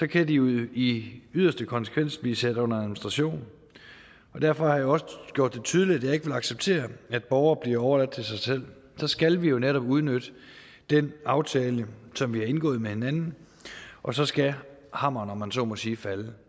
kan de jo i yderste konsekvens blive sat under administration derfor har jeg også gjort det tydeligt at jeg ikke vil acceptere at borgere bliver overladt til sig selv så skal vi jo netop udnytte den aftale som vi har indgået med hinanden og så skal hammeren om man så må sige falde